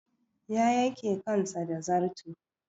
Ya yake kansa da zarto.